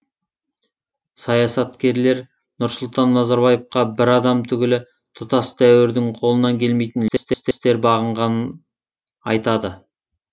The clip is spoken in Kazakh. саясаткерлер нұрсұлтан назарбаевқа бір адам түгілі тұтас дәуірдің қолынан келмейтін үлкен істер бағынғанын айтады